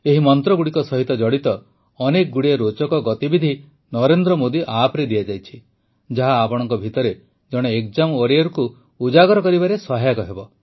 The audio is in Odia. ଏହି ମନ୍ତ୍ରଗୁଡ଼ିକ ସହିତ ଜଡ଼ିତ ଅନେକଗୁଡ଼ିଏ ରୋଚକ ଗତିବିଧି ନରେନ୍ଦ୍ର ମୋଦି ଆପ୍ରେ ଦିଆଯାଇଛି ଯାହା ଆପଣଙ୍କ ଭିତରେ ଜଣେ ଏକ୍ଜାମ୍ ୱାରିୟରକୁ ଉଜାଗର କରିବାରେ ସହାୟକ ହେବ